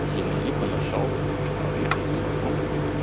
землянику нашёл а уехать не могу